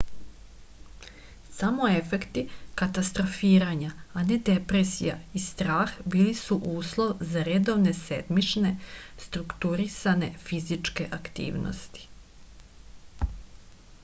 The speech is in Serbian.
samo efekti katastrofiranja a ne depresija i strah bili su uslov za redovne sedmične strukturisane fizičke aktivnosti